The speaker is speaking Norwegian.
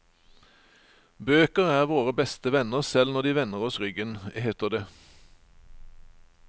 Bøker er våre beste venner selv når de vender oss ryggen, heter det.